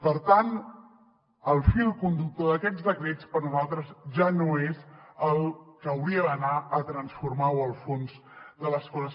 per tant el fil conductor d’aquests decrets per a nosaltres ja no és el que hauria d’anar a transformar o al fons de les coses